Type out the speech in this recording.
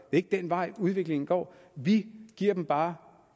ikke den vej udviklingen går vi giver dem bare